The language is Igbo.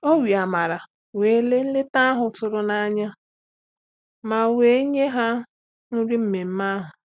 O we amara were leta nleta ahụ tụrụ na-anya ma wee nye ha nri mmeme ahụ.